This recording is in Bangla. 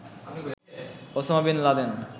Osama bin Laden